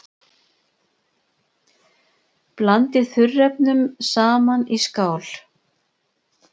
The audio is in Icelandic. Blandið þurrefnunum saman í skál.